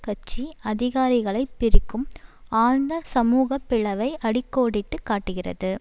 கட்சி அதிகாரிகளை பிரிக்கும் ஆழ்ந்த சமூக பிளைவை அடி கோடிட்டு காட்டுகிறது